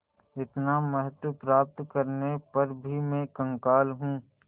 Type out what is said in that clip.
इतना महत्व प्राप्त करने पर भी मैं कंगाल हूँ